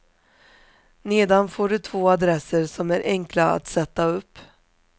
Nedan får du två adresser som är enkla att sätta upp.